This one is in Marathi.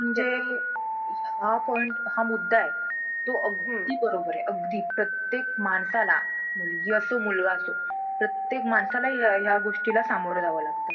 Subject नंतर आम्हाला फक्त किती पाच subject ची study करावी लागते दोन निघून जातात .